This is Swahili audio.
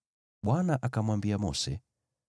Bwana akamwambia Mose,